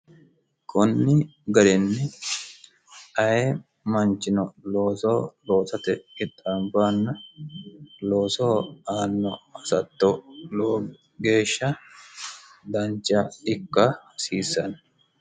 kunni ga'renni aye manchino loosoo rootate ixxaambaanna loosoo aanno hasatto loo geeshsha dancha ikka hasiissanni